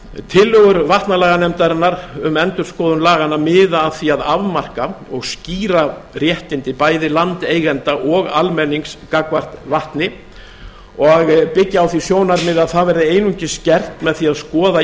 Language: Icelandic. tillögur vatnalaganefndarinnar um endurskoðun laganna miða að því að afmarka og skýra réttindi bæði landeigenda og almennings gagnvart vatni og byggja á því sjónarmiði að það verði einungis gert með því að skoða í